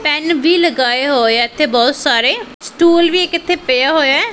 PAN ਵੀ ਲਗਾਏ ਹੋਏ ਇੱਥੇ ਬਹੁਤ ਸਾਰੇ ਸਟੂਲ ਵੀ ਇੱਕ ਇੱਥੇ ਪਿਆ ਹੋਇਐ।